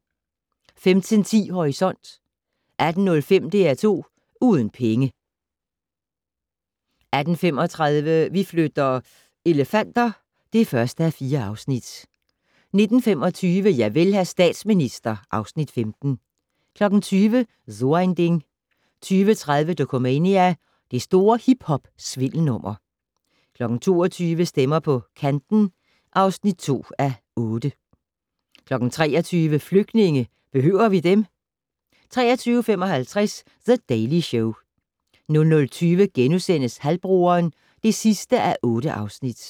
15:10: Horisont 18:05: DR2 Uden penge 18:35: Vi flytter - elefanter (1:4) 19:25: Javel, hr. statsminister (Afs. 15) 20:00: So ein Ding 20:30: Dokumania: Det store hiphop-svindelnummer 22:00: Stemmer på Kanten (2:8) 23:00: Flygtninge - behøver vi dem? 23:55: The Daily Show 00:20: Halvbroderen (8:8)*